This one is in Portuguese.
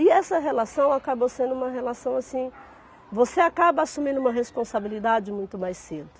E essa relação acabou sendo uma relação assim, você acaba assumindo uma responsabilidade muito mais cedo.